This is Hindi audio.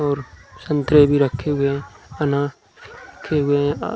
और संतरे भी रखे हुए हैं। अनार रखे हुए हैं।